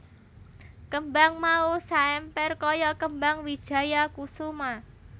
Kembang mau saemper kaya kembang wijaya kusuma